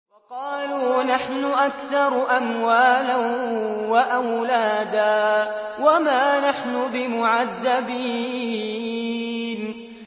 وَقَالُوا نَحْنُ أَكْثَرُ أَمْوَالًا وَأَوْلَادًا وَمَا نَحْنُ بِمُعَذَّبِينَ